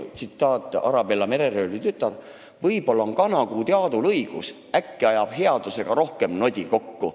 Tsitaat filmist "Arabella, mereröövli tütar": "Võib-olla on Kanakuudi Aadul õigus, äkki ajab headusega rohkem nodi kokku.